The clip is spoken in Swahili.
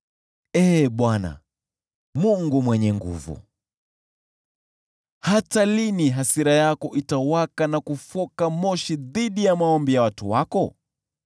Ee Bwana Mungu Mwenye Nguvu Zote, hata lini hasira yako itawaka na kufoka moshi dhidi ya maombi ya watu wako?